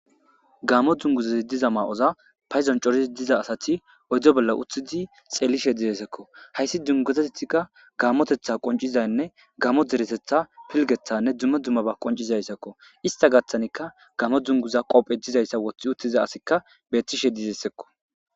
Gamo dzunguzazi diza maa7oza payzon corizi diza asati oydo bolla uththidi xeelishe dizeesekko hayssi dunguzetethikka gaamotetha qoncizaynne gamo deretetha pilgethanne dumme dummaba qoncizayssakko ista gaththanikka gamo dzunguza qophe dizayssa wothi uttiza asikka bettishe dizesekko